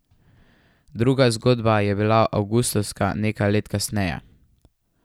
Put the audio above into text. Druga zgodba je bila avgustovska nekaj let kasneje.